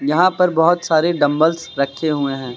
यहां पर बहोत सारे डंबल्स रखे हुए हैं।